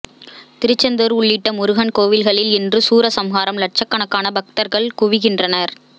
திருச்செந்தூர் உள்ளிட்ட முருகன் கோவில்களில் இன்று சூரசம்ஹாரம் லட்சக்கணக்கான பக்தர்கள் குவிகின்றனர்